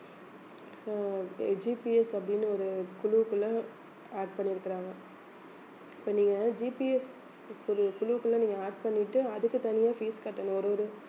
அஹ் GPS அப்படின்னு ஒரு குழுவுக்குள்ள add பண்ணியிருக்கிறாங்க இப்ப நீங்க GPS ஒரு குழுவுக்குள்ள நீங்க add பண்ணிட்டு அதுக்கு தனியா fees கட்டணும் ஒரு ஒரு